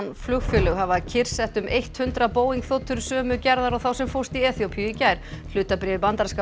flugfélög hafa kyrrsett um eitt hundrað Boeing þotur sömu gerðar og þá sem fórst í Eþíópíu í gær hlutabréf í bandaríska